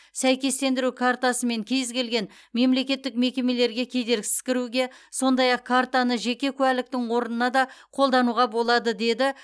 сәйкестендіру картасымен кез келген мемлекеттік мекемелерге кедергісіз кіруге сондай ақ картаны жеке куәліктің орнына да қолдануға болады деді